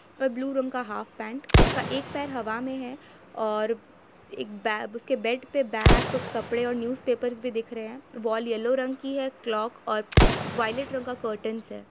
और ब्लू रंग का हाफ पेंट उसके एक पैर में हवा है और एक उसके बेड पे बेग कुछ कपड़े है और न्यूज़ पेपर भी दिख रहे है वॉल येलो रंग की है क्लॉक और वॉयलेट रंग का कर्टन्स हैं।